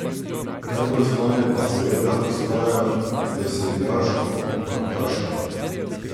Najbolj znane pa seveda ostajajo veseljaško kvantaške.